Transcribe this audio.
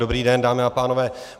Dobrý den, dámy a pánové.